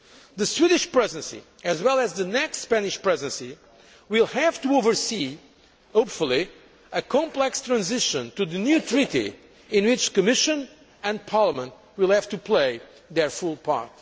The Swedish Presidency, as well as the next Spanish Presidency, will have to oversee hopefully a complex transition to the new Treaty in which the Commission and Parliament will have to play their full part.